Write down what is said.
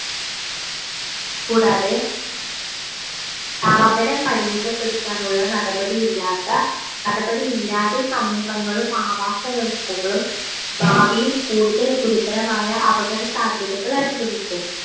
കൂടാതെ താപനം പരിമിതപെടുത്താനുള്ള നടപടി ഇല്ലാത്ത നടപടി ഇല്ലാതെ സമൂഹങ്ങളും ആവാസവ്യവസ്ഥകളും ഭാവിയിൽ കൂടുതൽ ഗുരുതരമായ അപകട സാധ്യതകൾ അനുഭവിക്കും